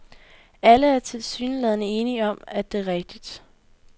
Alle er tilsyneladende enige om, at det er rigtigt.